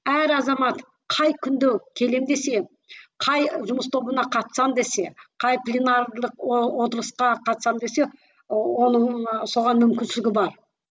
әр азамат қай күнде келемін десе қай жұмыс тобына қатысамын десе қай пленарлық отырысқа қатысамын десе оның соған мүмкіншілігі бар